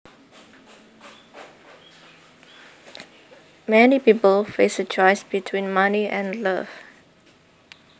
Many people face a choice between money and love